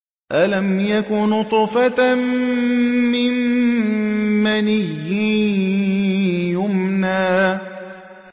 أَلَمْ يَكُ نُطْفَةً مِّن مَّنِيٍّ يُمْنَىٰ